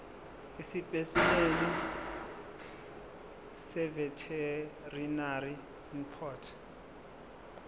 esipesimeni seveterinary import